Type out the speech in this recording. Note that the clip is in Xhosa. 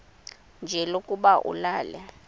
nje lokuba ulale